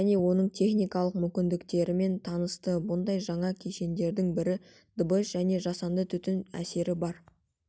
және оның техникалық мүмкіндіктерімен танысты бұндай жаңа кешендердің бірі дыбыс және жасанды түтін әсері бар